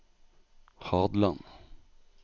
Hadland